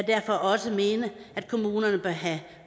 derfor også mene at kommunerne have